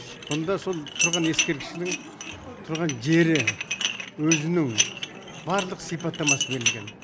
бұнда сол тұрған ескерткішінің тұрған жері өзінің барлық сипаттамасы берілген